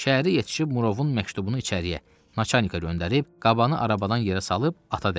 Şəhərə yetişib Murovun məktubunu içəri Naçanika göndərib, qabanı arabadan yerə salıb ata dəydim.